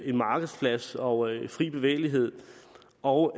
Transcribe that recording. en markedsplads og fri bevægelighed og